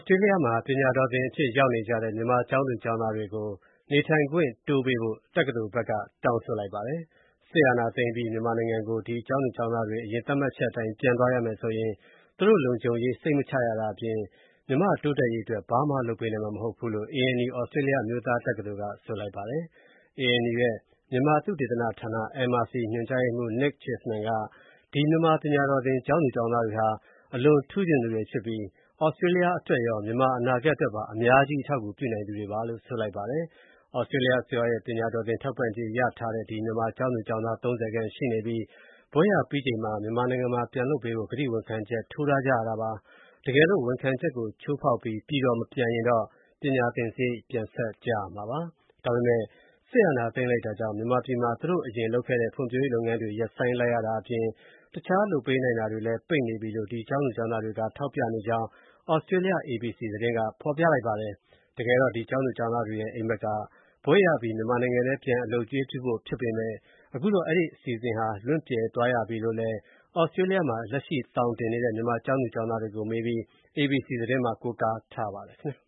စတြေးလျမှာ ပညာတော်သင်အဖြစ် ရောက်နေကြတဲ့ မြန်မာကျောင်းသူ ကျောင်းသားတွေကို နေထိုင်ခွင့်တိုးပေးဖို့ တက္ကသိုလ်ဘက်က တောင်းဆိုလိုက်ပါတယ်။ စစ်အာဏာသိမ်းအပြီး မြန်မာနိုင်ငံကို ကျောင်းသူကျောင်သားတွေ အရင် သတ်မှတ်ချက်တွေအတိုင်း ပြန်သွားရမယ်ဆိုရင် သူတို့လုံခြုံရေး စိတ်မချရတာအပြင် မြန်မာတိုးတက်ရေးအတွက် ဘာမှလုပ်ပေးနိုင်မှာမဟုတ်ဘူးလို့ ANU သြစတြေးလျ အမျိုးသားတက္ကသိုလ်က ဆိုပါတယ်။ ANU ရဲ့ မြန်မာသုတေသနဌာန (MRC) ညွန်ကြားရေးမှူး Nick Cheesman က မြန်မာ ပညာတော်သင် ကျောင်းသူကျောင်းသားတွေဟာ ထူးချွန်သူတွေဖြစ်ပြီး သြစတြေးလျအတွက်ရော မြန်မာအနာဂတ်အတွက်ပါ အများကြီး အထောက်အကူပြုနိုင်သူတွေလို့ ဆိုပါတယ်။ သြစတြေးလျအစိုးရရဲ့ ပညာတော်သင်ထောက်ပံကြေးရထားတဲ့ ဒီ မြန်မာ ကျောင်းသူ ကျောင်းသား ၃၀ ခန့်ရှိနေပြီး ဘွဲ့ရပြီးချိန်မှာ မြန်မာနိုင်ငံမှာ ပြန်လုပ်ပေးဖို့ ကတိဝန်ခံချက် ထိုးတားကြရပါတယ်။ တကယ်လို့ ဝန်ခံချက်ကိုချိုးဖောက်ပြီး ပြည်တော်မပြန်ရင်တော့ ပညာသင်စရိတ် ပြန်ဆပ်ရမှာပါ။ ဒါပေမယ့် စစ်အာဏာသိမ်းလိုက်တာကြောင့် မြန်မာပြည်မှာ သူတို့ အရင်လုပ်ခဲ့တဲ့ ဖွံဖြိုးရေးလုပ်ငန်းတွေ ရပ်ဆိုင်းလိုက်ရတာအပြင် တခြား လုပ်ပေးနိုင်တာတွေလည်း ပိတ်နေပြီလို့ ဒီ ကျောင်းသူကျောင်းသားတွေက ထောက်ပြနေတယ်ကြောင်း သြစတြေးလျ ABC သတင်းက ဖော်ပြလိုက်ပါတယ်။ တကယ်တော့ ဒီကျောင်းသူ ကျောင်းသားတွေရဲ့ အိမ်မက်က ဘွဲ့ရအပြီး မြန်မာနိုင်ငံထဲ ပြန် အလုပ်အကျွေးပြုဖို့ဖြစ်ပေမယ့် အခုတော့ အဲဒီ အစီအစဉ်ဟာ လွင့်ပြယ်သွားရပြီလို့ိလည်း သြစတြေးလျမှာ လက်ရှိသောင်တင်နေတဲ့ မြန်မာကျောင်းသူကျောင်းသားတွေကို မေးပြီး ABC သတင်းမှာ ကိုးကားထားပါတယ်